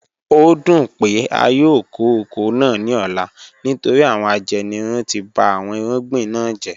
O dun pe a yoo ko oko naa ni ọla nitori awọn ajenirun ti ba awọn irugbin na jẹ